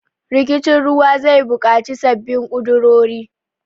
Rikicin ruwa zai bukaci sabbin kudurori.